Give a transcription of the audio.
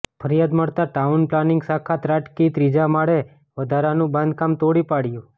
ફરિયાદ મળતા town planning શાખા ત્રાટકી ત્રીજા માળે વધારાનું બાંધકામ તોડી પાડયું